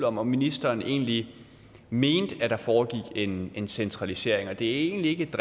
om om ministeren egentlig mente at der foregik en en centralisering det er egentlig ikke et